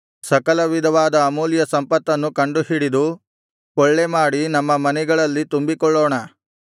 ಸಕಲವಿಧವಾದ ಅಮೂಲ್ಯ ಸಂಪತ್ತನ್ನು ಕಂಡುಹಿಡಿದು ಕೊಳ್ಳೆಮಾಡಿ ನಮ್ಮ ಮನೆಗಳಲ್ಲಿ ತುಂಬಿಕೊಳ್ಳೋಣ